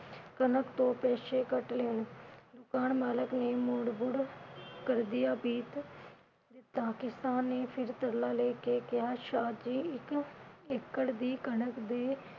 ਕਣਕ ਤੋਂ ਪਿਛੇ ਕੱਟ ਲੈਣ। ਦੁਕਾਨ ਮਾਲਕ ਨੇ ਬੁੜ ਬੁੜ ਕਰਦਿਆਂ ਦਿੱਤਾ, ਕਿਸਾਨ ਨੇ ਫਿਰ ਤਰਲਾ ਲੈ ਕੇ ਕਿਹਾ ਸ਼ਾਹ ਜੀ ਇਕ ਏਕੜ ਦੀ ਕਣਕ ਦੇ